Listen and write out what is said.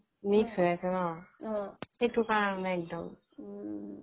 mix হৈ আছে ন সেইটো কাৰনে একডম